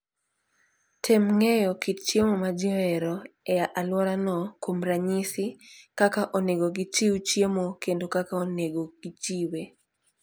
Tem ng'eyo kit chiemo ma ji ohero e alworano, kuom ranyisi, kaka onego gichiw chiemo kendo kaka onego gichiwe.